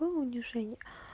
было унижение